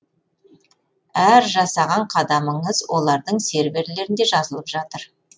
әр жасаған қадамыңыз олардың серверлерінде жазылып жатыр